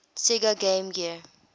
sega game gear